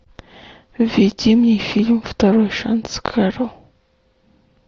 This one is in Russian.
введи мне фильм второй шанс кэрол